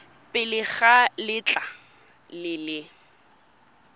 pele ga letlha le le